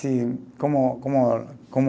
Como, como, como